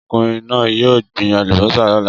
Ọkùnrin náà yóò gbin àlùbọ́sà lọ́la.